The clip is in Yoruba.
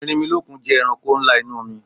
Erinmilọ́kun jẹ́ ẹranko ńlá inú omi